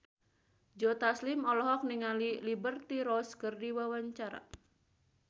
Joe Taslim olohok ningali Liberty Ross keur diwawancara